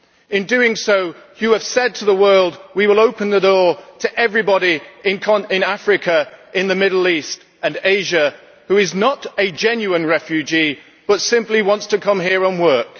In doing so, you have said to the world that we will open the door to everybody in Africa, the Middle East and Asia who is not a genuine refugee, but simply wants to come here and work.